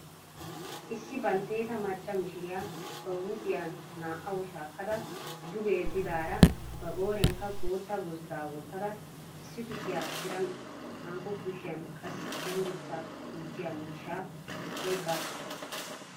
Issi baltteeta macca mishiriya ba huuphiya naa"aw shaakkada duge yeddidaara ba qooriyaanikka bootta gozddaa wottada issi kushiyaa tiran hankko kushiyan qassi cenggurssaa gujjiya miishshaa oyqqaassu.